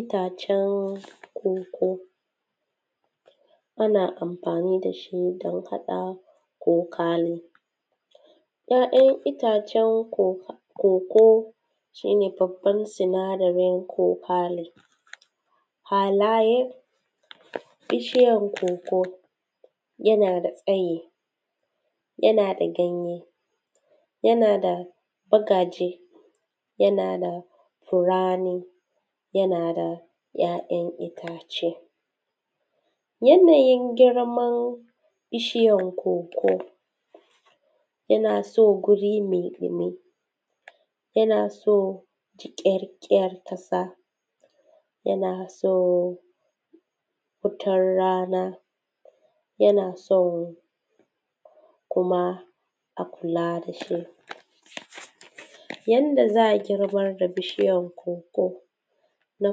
Itacen koko ana amfani da shi don haɗa kokale, ‘ya’yan itacen koko shi ne babban sinadarin kokale. Halayen bishiyan koko, yana da tsayi, yana da ganye, yana da gadaje, yana da furani, yana da ‘ya’yan itace. Yanayin girman bishiyan koko, yana so guri mai ɗumi, yana so jiƙarƙen ƙasa, yana so fitar rana, yana so kuma a kula da shi. Yana da za a girba da bishiyar koko; na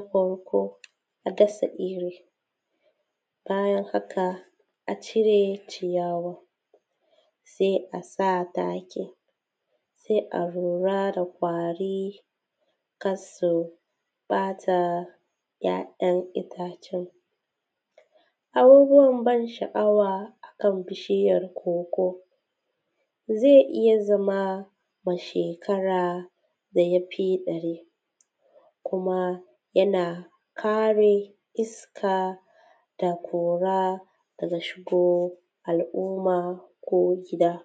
farko a dasa iri, bayan haka a cire ciyawa, sai a sa taki, sai a lura da ƙwari kar su ɓata ‘ya’yan itacen. Abubuwan ban sha’awa akan bishiyan koko; zai iya zama wa shekara da ya fi ɗari, kuma yana kare iskada ƙura daga shigo al’umma ko gida.